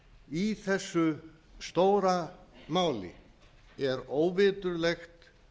í þessu stóra máli er óviturlegt